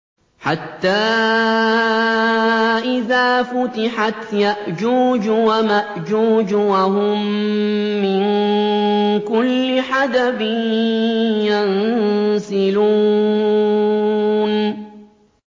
حَتَّىٰ إِذَا فُتِحَتْ يَأْجُوجُ وَمَأْجُوجُ وَهُم مِّن كُلِّ حَدَبٍ يَنسِلُونَ